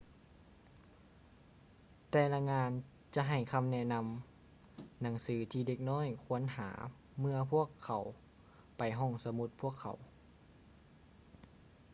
ແຕ່ລະງານຈະໃຫ້ຄໍາແນະນໍາໜັງສືທີ່ເດັກນ້ອຍຄວນຫາເມື່ອພວກເຂົາໄປຫ້ອງສະໝຸດພວກເຂົາ